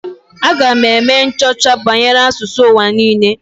Aga m eme nchọcha banyere asụsụ ụwa niile.